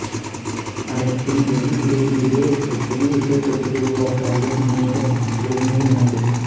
அதன்பின் வெகு விரைவிலேயே ஒரு புதிய இசைத்தொகுப்பை உருவாக்க அயர்ன் மெய்டன் குழு மீண்டும் இணைந்தது